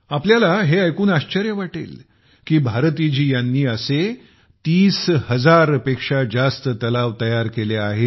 आपल्याला हे ऐकून आश्चर्य वाटेल की भारती जी यांनी असे 30 हजार पेक्षा जास्त तलाव तयार केले आहेत